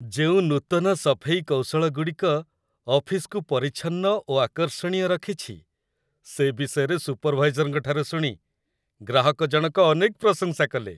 ଯେଉଁ ନୂତନ ସଫେଇ କୌଶଳଗୁଡ଼ିକ ଅଫିସକୁ ପରିଚ୍ଛନ୍ନ ଓ ଆକର୍ଷଣୀୟ ରଖିଛି, ସେ ବିଷୟରେ ସୁପରଭାଇଜରଙ୍କଠାରୁ ଶୁଣି ଗ୍ରାହକଜଣକ ଅନେକ ପ୍ରଶଂସା କଲେ।